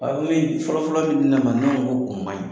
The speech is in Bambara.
Aw ni fɔlɔ-fɔlɔ ni min nana ne ko ko o maɲi.